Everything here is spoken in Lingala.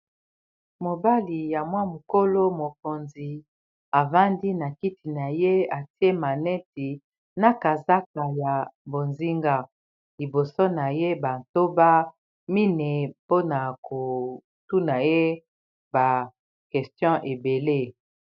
Mobali ya mwa mokolo mokonzi a vandi na kiti na ye atie maneti na kazakla ya bozinga liboso na ye, batoba mine po na ko tuna ye ba questions ébélé.